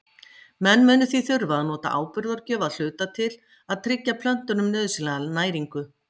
Menn munu því þurfa að nota áburðargjöf að hluta til að tryggja plöntunum nauðsynlega næringu.